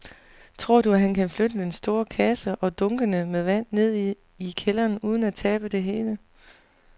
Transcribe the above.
Tror du, at han kan flytte den store kasse og dunkene med vand ned i kælderen uden at tabe det hele?